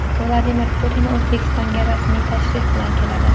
Vladimir Putin O‘zbekistonga rasmiy tashrif bilan keladi.